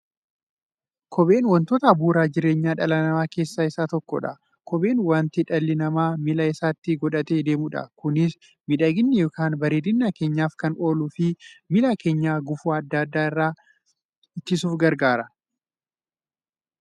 Kopheen wantoota bu'uura jireenya dhala namaa keessaa isa tokkodha. Kopheen wanta dhalli namaa miilla isaatti godhatee deemudha. Kunis miidhaganii yookiin bareedina keenyaf kan ooluufi miilla keenya gufuu adda addaa irraa ittisuuf gargaara.